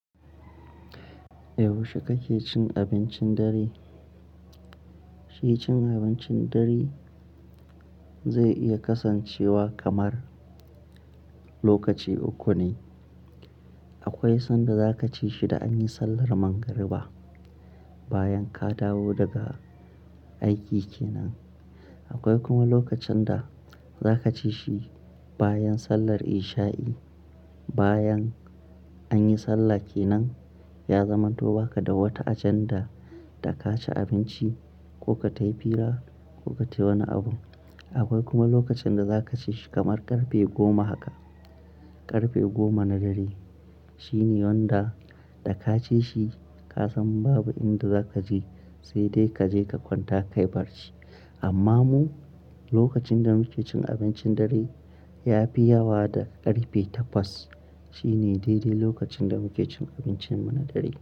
Yaushe kake cin abincin dare? Shi cin abincin dare zai iya kasancewa kamar lokaci uku ne. Akwai sanda za ka ci shi da anyi sallar magariba, bayan ka dawo daga aiki kenan. Akwai kuma lokacin da za ka ci shi bayan sallar isha'i, bayan anyi sallah kenan ya zamanto baka da wata ajanda ta kaci abinci ko ka tayi fira ko ka tayi wani abu. Akwai kuma lokacin da za ka ci shi kamar karfe goma haka, karfe goma na dare. Shi ne wanda da ka ci shi ka san babu inda za kaje sai dai kaje ka kwanta kayi barci. Amma mu lokacin da muke cin abincin dare ya fi yawa da karfe takwas. Shi ne daidai lokacin da muke cin abincinmu na dare.